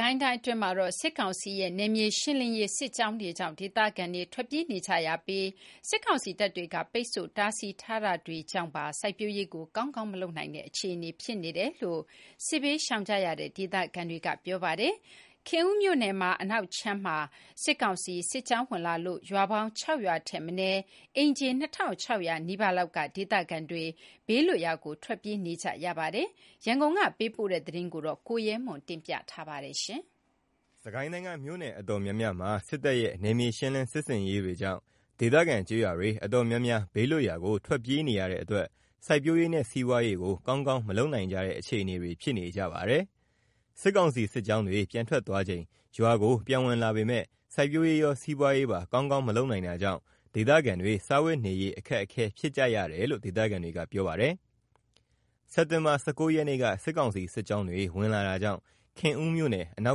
ကိုင်းတိုင်းအတွင်းမှာ စစ်ကောင်စီရဲ့ နယ်မြေရှင်းလင်းရေး စစ်ကြောင်းတွေကြောင့် ဒေသခံတွေ ထွက်ပြေးနေကြရတာကြောင့်ရော စစ်ကောင်စီတပ်တွေက ပိတ်ဆို့တားဆီးထားတာတွေကြောင့်ပါ စိုက်ပျိုးရေးကို ကောင်းကောင်း မလုပ်နိုင်ကြတဲ့ အခြေအနေတွေ ဖြစ်နေတယ်လို့ စစ်ဘေးရှောင်နေကြရတဲ့ ဒေခံတွေကပြောပါတယ်။ ခင်ဦးမြို့နယ်မှာအနောက်ခြမ်းမှာ စစ်ကောင်စီစစ်ကြောင်းဝင်လာလို့ ရွာပေါင်း ၆ ရွာထက်မနည်း အိမ်ခြေ ၂၆၀၀ နီးပါးလောက်က ဒေသခံတွေ ဘေးလွတ်ရာကို ထွက်ပြေးနေကြရပါတယ်။ ဒီအကြောင်း အပြည့်အစုံ ရန်ကုန်ကလာတဲ့သတင်းကို ကိုရဲမွန်က ပြောပြပါမယ်။ စစ်ကိုင်းတိုင်းက မြို့နယ်အတော်တော်များများမှာ စစ်တပ်ရဲ့ နယ်မြေရှင်းလင်းစစ်ဆင်ရေး တွေကြောင့် ဒေသခံ ကျေးရွာတွေတော်တော်များ ဘေးလွတ်ရာကို ထွက်ပြေးနေပြီး ဘေးလွတ်ရာကို ထွက်ပြေးနေရတဲ့အတွက် စိုက်ပျိုးရေးနဲ့ စီးပွားရေးကို ကောင်းကောင်း မလုပ်နိုင်ကြတဲ့ အခြေအနေတွေ ဖြစ်နေကြပါတယ်။ စစ်ကောင်စီစစ်ကြောင်းတွေ ပြန်ထွက်သွားချိန် ရွာကို ပြန်ဝင်လာပေမယ့် စိုက်ပျိုးရေးရော စီးပွားရေးပါ ကောင်းကောင်းမလုပ်နိုင်တာကြောင့် ဒေသခံတွေ စားဝတ်နေရေးအခက်အခဲ ဖြစ်ကြရတယ်လို့ ဒေသခံတွေက ပြောပါတယ်။ စက်တင်ဘာ ၁၉ ရက်နေ့က စစ်ကောင်စီစစ်ကြောင်းတွေ ဝင်လာတာကြောင့် ခင်ဦးမြို့နယ် အနော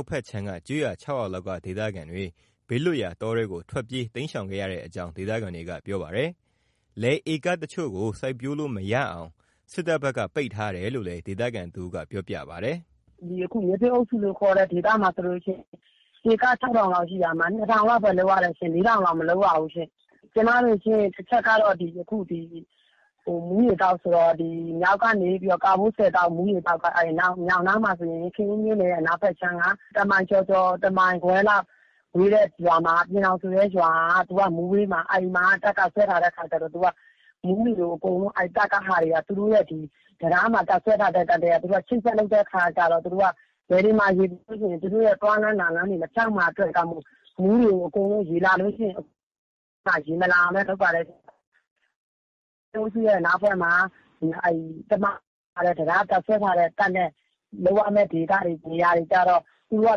က်ဖက်ခြမ်းက ကျေးရွာ ၆ ရွာလောက်က ဒေသခံတွေ ဘေးလွတ်ရာ တောထဲကို ထွက်ပြေး တိမ်းရှေင်ခဲ့ရတဲ့အကြောင်း ဒေသခံတွေက ပြောပါတယ်။ လယ်ဧကတချို့ကို စိုက်ပျိုးလို့ မရအောင် စစ်တပ်ဘက်က ပိတ်ထားတယ်လို့လည်း ဒေသခံတစ်ဦးက ပြောပြပါတယ်။ “အခု ကျွန်မတို့ ဒေသမှာ ဆိုလို့ရှိရင် ဧက ၆၀၀၀ လောက်ရှိတာမှာ ၂၀၀၀ လောက်ပဲ လုပ်လို့ရတယ်။ ၄၀၀၀ လောက်က မလုပ်ရဘူးရှင့်။ ကျွန်မတို့ဖက်မှာက မူးရေသောက်ဆိုတော့ မြောက်ဖက်မှာ ကာဘိုးဆည်ရေသောက် မူးရေသောက်ဆိုတော့ ခင်ဦးမြို့နယ်ရဲ့ အနောက်ဖက်ခြမ်း ၁ မိုင်ကျော် ၁မိုင်ခွဲလောက် ဝေးတဲ့ ပျဉ်ထောင်ဆိုတဲ့ရွာက မူးဘေးမှာဆိုတော့ အဲ့မှာ တပ်က စွဲထားတဲ့ခါကျတော့ အဲ့မှာ မူးရေကို တပ်ကဟာတွေက သူတို့အကုန်လုံး တံတားမှာ တပ်စွဲထားတဲ့ဟာတွေက သူတို့ အချိတ်အဆက် လုပ်တဲ့အခါ လယ်တွေမှာ ရေရှိရင် သူတို့ သွားလမ်းလာလမ်း မဖြောင့်မှာစိုးလို့ မူးရေကို လုံးဝ ရေမလာအောင် လုပ်ထားပါတယ်။ ကျွန်မတို့ရဲ့ အနောက်ဖက်ကမှာက စစ်အုပ်စုရဲ့ တပ်စွဲထာားတဲ့ တပ်နဲ့ ကပ်ရပ် လုပ်ရမယ့် ဒေသတွေ နေရာတွေကိုကျတော့ သူတို့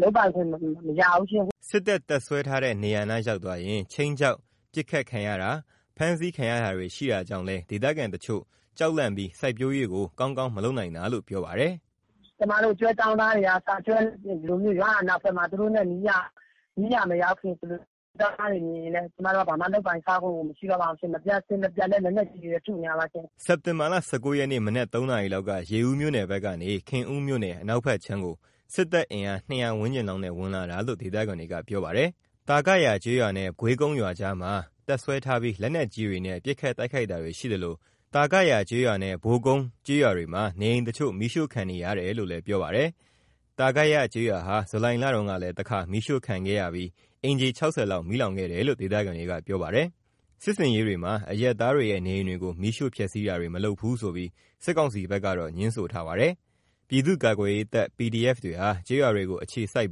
ဖက်က လုပ်ပိုင်ခွင့် မပေးဘူး မရဘူးရှင့်။ စပ်တပ်တပ်စွဲထားတဲ့ နေရာနား ရောက်သွားရင် ခြိမ်းခြောက် ပစ်ခတ်ခံရတာ ဖမ်းဆီးခံရတာတွေ ရှိတာကြောင့်လည်း ဒေသခံတချို့ ကြောက်လန့်ပြီး စိုက်ပျိုးရေးကို ကောင်းကောင်း မလုပ်နိုင်တာလို့ ပြောပါတယ်။ “ကျွန်မတို့ ကျွဲကျောင်းသားတွေကအစ လူတွေနဲ့ လွတ်ရာနားဖက်မှာ သူတို့နဲ့ နီးရာမရောက်ခင် ကျွဲကျောင်းသာားတွေမြင်ရင်လဲ ဖမ်းတာ ပစ်တာတွေ လုပ်တတ်တော့ ကျွန်မတို့ ဘာမှ လုပ်ကိုင်စားလို့ မရတော့ပါဘူးရှင့်။ နေ့ည အဆက်မပြတ် လက်နက်ကြီးတွေနဲ့လည်း ထုနေတာပါရှင်။” စက်တင်ဘာလ ၁၉ ရက်နေ့ မနက် ၃ နာရီလောက်က ရေဦးမြို့နယ်ဖက်ကနေ ခင်ဦးမြို့နယ် အနောက်ဖက်ခြမ်းကို စစ်တပ် အင်အား ၂၀၀ ဝန်းကျင်လောက်နဲ့ ဝင်လာတာလို့ ဒေသခံတွေက ပြောပါတယ်။ သာဂယာရွာနဲ့ ဂွေးကုန်းရွာကြားမှာ တပ်စွဲထားပြီး လက်နက်ကြီးတွေနဲ့ ပစ်ခတ်တိုက်ခိုက်တာတွေ ရှိသလို ဒီနေ့ သာဂယာကျေးရွာနဲ့ ဘိုကုန်းကျေးရွာတွေမှာ နေအိမ်တချို့ မီးရှို့ခံနေရတယ်လို့လည်း ပြောပါတယ်။ သာဂယ ကျေးရွာဟာ ဇူလိုင်လတုန်းကလည်း တခါ မီးရှို့ခံခဲ့ရပြီး အိမ်ခြေ ၆၀ လောက်မီးလောင်ခဲ့တယ်လို့ ဒေသခံတွေက ပြောပါတယ်။ စစ်ဆင်ရေးတွေမှာ အရပ်သားတွေရဲ့ နေအိမ်တွေကို မီးရှို့ဖျက်ဆီးတာတွေ မလုပ်ဘူးဆိုပြီး စစ်ကောင်စီဘက်က ငြင်းဆိုထားပါတယ်။ ပြည်သူ့ကာကွယ်ရေးတပ် PDF တွေဟာ ကျေးရွာတွေကို အခြေစိုက်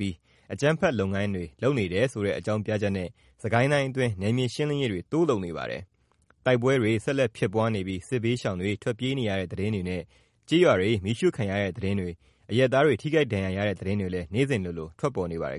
ပြီး အကြမ်းဖက် လုပ်ငန်းတွေ လုပ်နေတယ်ဆိုတဲ့ အကြောင်းပြချက်နဲ့ စစ်ကိုင်းတိုင်းအတွင်း နယ်မြေရှင်းလင်းရေးတွေ တိုးလုပ်နေပါတယ်။ တိုက်ပွဲတွေ ဆက်လက်ဖြစ်ပွားနေပြီး စစ်ဘေးရှောင်တွေ ထွက်ပြေးနေတဲ့ သတင်းတွေနဲ့ ကျေးရွာတွေ မီးရှို့ခံရတဲ့သတင်းတွေ၊ အရပ်သားတွေ ထိခိုက်ဒဏ်ရရတဲ့ သတင်းတွေလည်း နေ့စဉ်လိုလို ထွက်ပေါ်နေပါတယ်